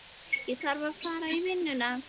Ég þarf að fara í vinnuna.